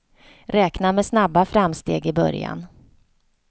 Räkna med snabba framsteg i början.